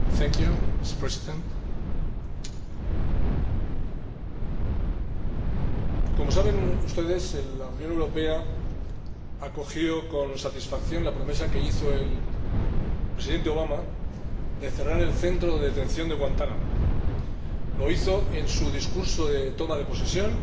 Señora Presidenta, como saben ustedes, la Unión Europea acogió con satisfacción la promesa que hizo el Presidente Obama de cerrar el centro de detención de Guantánamo. Lo hizo en su discurso de toma de posesión